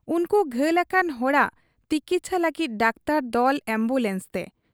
ᱩᱱᱠᱩ ᱜᱷᱟᱹᱞ ᱟᱠᱟᱱ ᱦᱚᱲᱟᱜ ᱛᱤᱠᱪᱷᱟᱹ ᱞᱟᱹᱜᱤᱫ ᱰᱟᱠᱛᱚᱨ ᱫᱚᱞ ᱟᱢᱵᱩᱞᱟᱱᱥ ᱛᱮ ᱾